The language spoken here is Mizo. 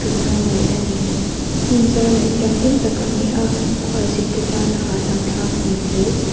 tura ngaih ani hmun zau leh thianghlim tak ani a khualzin te tan a hahdam thlak hmel hle.